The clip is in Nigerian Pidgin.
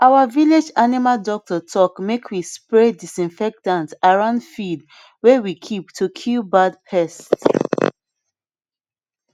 our village animal doctor talk make we spray disinfectant around feed way we keep to kill bad pests